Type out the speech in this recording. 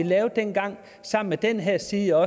lavede dengang sammen med den her side